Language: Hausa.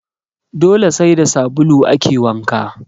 Dole sai da sabulu ake wanka